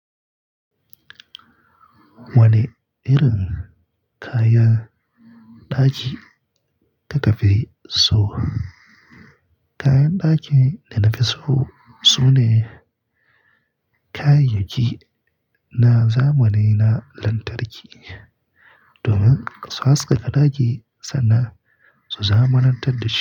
Wane irin kayan ɗaki ka ka fi so? Kayan ɗaki da nafi so sune kayayyaki na zamani na lantarki domin su haskaka ɗaki sannan su zamanantar da shi.